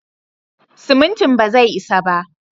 Simintin bazai isa ba.